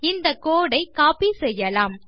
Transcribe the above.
இந்த கோடு ஐ கோப்பி செய்யலாம்